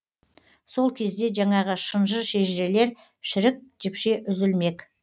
сол кезде жаңағы шынжыр шежірелер шірік жіпше үзілмек